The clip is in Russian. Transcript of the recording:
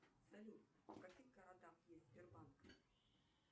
салют в каких городах есть сбербанк